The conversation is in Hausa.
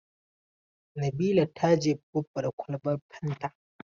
Nabila ta jefe Baffa da kwalban fanta.